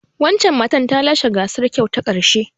Wancan matar ta lashe gasar kyau ta karshe.